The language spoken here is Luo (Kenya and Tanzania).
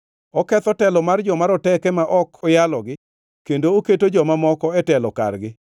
Oketho telo mar joma roteke ma ok oyalogi kendo oketo joma moko e telo kargi.